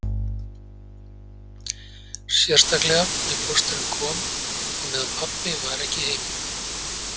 Sérstaklega ef pósturinn kom á meðan pabbi var ekki heima